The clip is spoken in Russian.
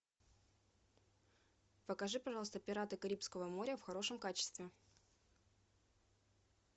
покажи пожалуйста пираты карибского моря в хорошем качестве